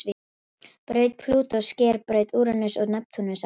Braut Plútós sker braut Úranusar og Neptúnusar.